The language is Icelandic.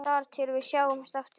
Þar til við sjáumst aftur.